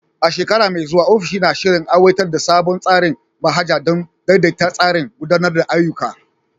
A shekara mai zuwa, ofishin na shirin aiwatar da sabon tsarin manhaja don daidaita tsarin gudanar da ayyuka.